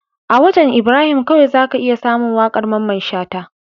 A wajan Ibrahim kawai zaka iya samun waƙar mamman shata